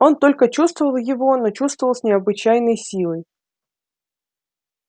он только чувствовал его но чувствовал с необычайной силой